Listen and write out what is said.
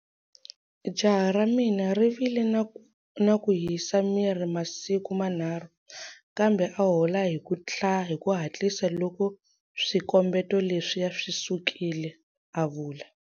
Jaha ra mina ri vile na ku hisa miri masiku manharhu, kambe a hola hi ku hatlisa loko swikombeto leswiya swisukile, a vula.